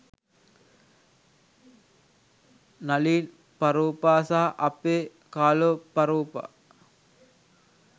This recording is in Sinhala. නලින් පරෝපා සහ අපේ කාලෝ ප්රෝපා